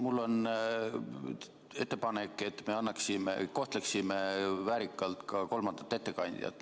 Mul on ettepanek, et me kohtleksime väärikalt ka kolmandat ettekandjat.